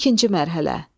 İkinci mərhələ.